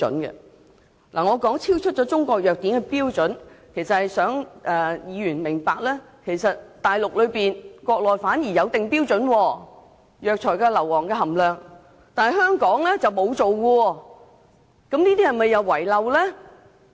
我指出樣本超出《中國藥典》的標準，目的是想議員明白，國內反而有為中藥材制訂標準，例如藥材中二氧化硫的含量，但香港卻沒有，這是否遺漏呢？